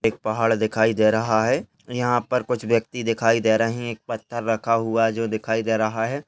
एक पहाड़ दिखाई दे रहा है यहा पर कुछ व्यक्ति दिखाई दे रहे हैं एक पत्थर रखा हुआ है जो दिखाई दे रहा है।